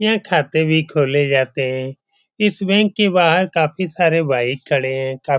यहाँ खाते भी खोले जाते हैं। इस बैंक के बाहर काफी सारे बाइक खड़े हैं। का --